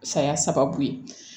Saya sababu ye